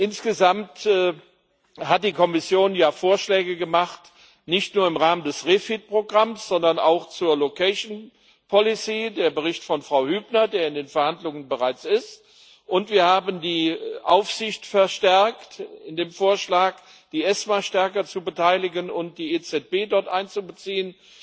Insgesamt hat die Kommission ja Vorschläge gemacht, nicht nur im Rahmen des REFIT Programms, sondern auch zur location policy der Bericht von Frau Hübner, der bereits in den Verhandlungen ist und wir haben die Aufsicht verstärkt durch den Vorschlag, die ESMA stärker zu beteiligen und die EZB dort einzubeziehen.